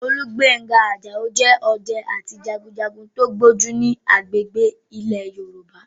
Olúgbénga Àjàó jẹ́ ọdẹ àti jagunjagun tó gbójú ní agbègbè ilẹ̀ Yorùbá